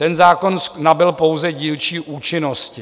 Ten zákon nabyl pouze dílčí účinnosti.